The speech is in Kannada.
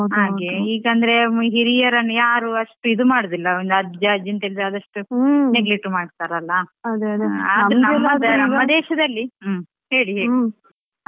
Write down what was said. ಹಾಗೆ ಈಗಂದ್ರೆ ಹಿರಿಯರನ್ನು ಯಾರು ಅಷ್ಟು ಇದು ಮಾಡುದಿಲ್ಲಾ ಒಂದ್ ಅಜ್ಜ ಅಜ್ಜಿ ಅಂತ ಆದಷ್ಟು neglect ಮಾಡ್ತಾರಲ್ಲಾ ಆದರು ನಮ್ಮ ದೇಶದಲ್ಲಿ ಹೇಳಿ ಹೇಳಿ.